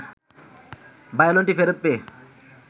ভায়োলিনটি ফেরত পেয়ে